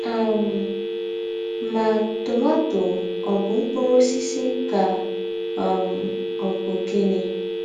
um Mà, tomato ọ̀ bụ̀ mkpūrū ǒsísì kà um ọ̀ bụ̀ gịnị?